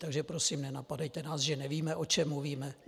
Takže prosím, nenapadejte nás, že nevíme, o čem mluvíme.